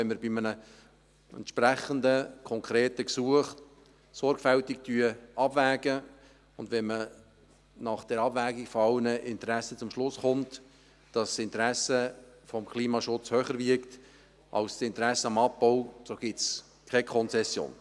Wenn wir bei einem entsprechend konkreten Gesuch sorgfältig abwägen und nach der Abwägung aller Interessen zum Schluss kommen, dass das Interesse am Klimaschutz höher wiegt als das Interesse am Abbau, so gibt es keine Konzession.